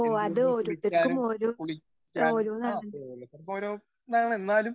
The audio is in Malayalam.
സ്പീക്കർ 1 എന്തുകൊണ്ടും കുളിക്കാനും കുളിക്കാനും ആ ഓരോരുത്തർക്ക് ഓരോ ഇതാണ്. എന്നാലും